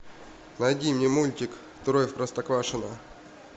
найди мне мультик трое в простоквашино